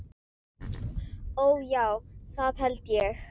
Ó, já, það held ég.